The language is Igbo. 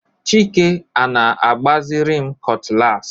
Chike a-na-agbaziri m cutlass.